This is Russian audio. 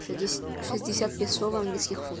шестьдесят песо в английских фунтах